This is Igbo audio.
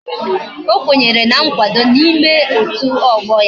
O kwenyere na nkwado na ime otu ogbo ya.